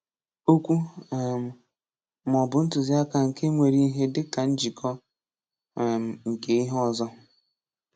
Okwu um maọbụ ntụziaka nke nwere ihe dịka njikọ um nke ihe ọzọ.